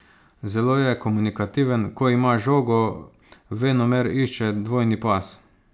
Zelo je komunikativen, ko ima žogo, venomer išče dvojni pas.